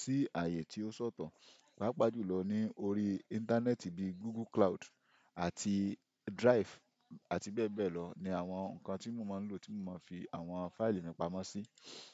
sí ààyè tí ó ṣọ̀tọ̀. Pàápàá jùlọ ní orí íńtánẹ́ẹ̀tì bíi Google Cloud àti Drive àti bẹ́ẹ̀ bẹ́ẹ̀ lọ ni àwọn nǹkan tí mo máa ń lò, tí mo máa ń fi àwọn fáìlì mi pamọ́ sí.